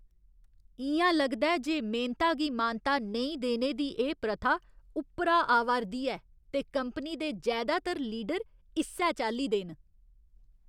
इ'यां लगदा ऐ जे मेह्नता गी मानता नेईं देने दी एह् प्रथा उप्परा आवा 'रदी ऐ ते कंपनी दे जैदातर लीडर इस्सै चाल्ली दे न।